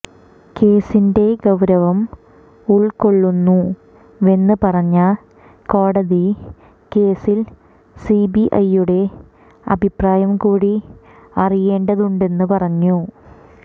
കേസിന്റെ ഗൌരവം ഉൾക്കൊള്ളുന്നുവെന്ന് പറഞ്ഞ കോടതി കേസിൽ സിബിഐയുടെ അഭിപ്രായം കൂടി അറിയേണ്ടതുണ്ടെന്ന് പറഞ്ഞു